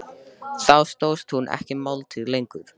Þá stóðst hún ekki mátið lengur.